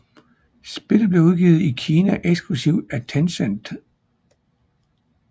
Spillet blev udgivet i Kina eksklusivt af Tencent